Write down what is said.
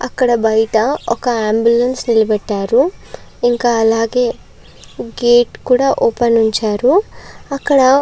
అక్కడ బయట ఒక అంబులెన్స్ నిలబెట్టారు ఇంకా అలాగే గేటు కూడా ఓపెన్ ఇచ్చారు అక్కడ --